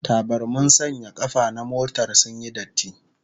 Tabarmin sanya kafa na motar sun yi datti